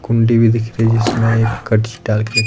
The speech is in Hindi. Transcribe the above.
कुंडी भी दिख रही जिसमें एक कट्स डाल के र--